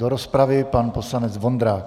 Do rozpravy pan poslanec Vondrák.